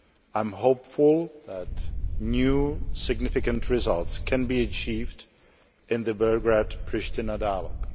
I am hopeful that new significant results can be achieved in the Belgrade Pristina dialogue.